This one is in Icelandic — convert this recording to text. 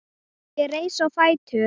Ég reis á fætur.